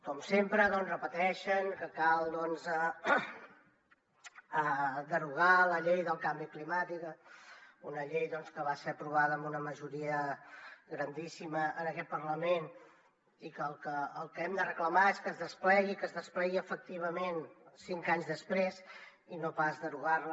com sempre doncs repeteixen que cal derogar la llei del canvi climàtic una llei que va ser aprovada amb una majoria grandíssima en aquest parlament i el que hem de reclamar és que es desplegui que es desplegui efectivament cinc anys després i no pas derogar la